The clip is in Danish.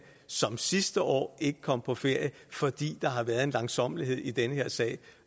som sidste år ikke kom på ferie fordi der har været en langsommelighed i den her sag